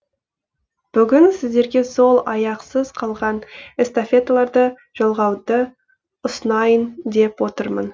бүгін сіздерге сол аяқсыз қалған эстафеталарды жалғауды ұсынайын деп отырмын